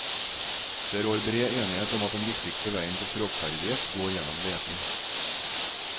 Det rår bred enighet om at den viktigste vegen til språkferdighet går gjennom lesing.